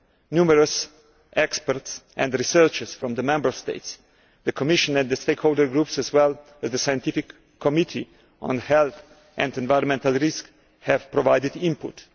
Numerous experts and researchers from the Member States, the Commission and the stakeholder groups as well as the Scientific Committee on Health and Environmental Risks have provided input.